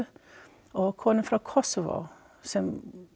og kona frá Kosovo sem